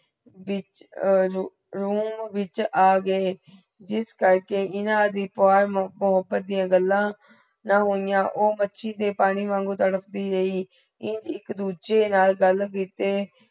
ਵੀ ਅਹ room ਵਿਚ ਆ ਗਏ ਜਿਸ ਕਰਕੇ ਇਨ੍ਹਾਂਦੀ ਮੋਹੱਬਤ ਦੀਆ ਗੱਲਾਂ ਨਾ ਹੋਇਆ। ਊ ਮੱਛੀ ਦੇ ਪਾਨੀ ਵਾਂਗੋ ਤੜਪਤੀ ਰਹੀ। ਇੰਗ ਇਕ ਦੂੱਜੇ ਨਾਲ ਗਲ ਕੀਤੇ